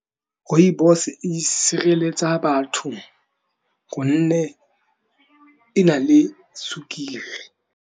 Rooibos e sireletsa batho gonne e na le sukiri.